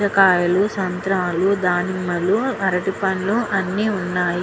పుచ్చకాయ లు సంత్రల్లు దానిమల్లు అరటి పండ్లు అని ఉన్నాయి.